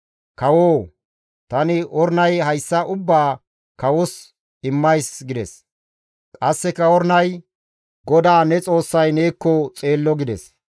Kawoo! Tani Ornay hayssa ubbaa kawos immays» gides; qasseka Ornay, «GODAA ne Xoossay neekko xeello» gides.